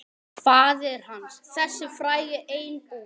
Faðir hans, þessi frægi einbúi.